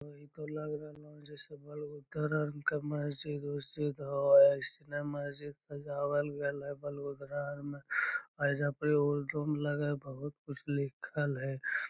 इ ते लग रहले जैसे एसने मस्जिद सजावल गेल हेय एजा पर हेय एकरो में बहुत कुछ लिखल हेय।